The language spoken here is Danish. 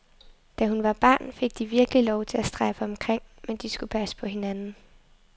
Da hun var barn, fik de virkelig lov til at strejfe omkring, men de skulle passe på hinanden.